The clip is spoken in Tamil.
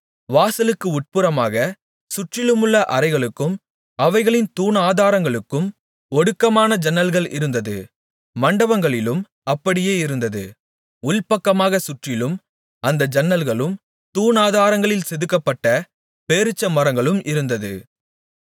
வாசலுக்கு உட்புறமாகச் சுற்றிலுமுள்ள அறைகளுக்கும் அவைகளின் தூணாதாரங்களுக்கும் ஒடுக்கமான ஜன்னல்கள் இருந்தது மண்டபங்களிலும் அப்படியே இருந்தது உள்பக்கமாகச் சுற்றிலும் அந்த ஜன்னல்களும் தூணாதாரங்களில் செதுக்கப்பட்ட பேரீச்சமரங்களும் இருந்தது